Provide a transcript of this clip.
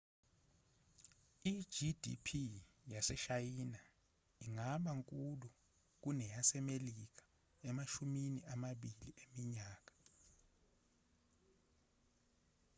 i-gdp yaseshayina ingaba nkulu kuneyasemelika emashumini amabili eminyaka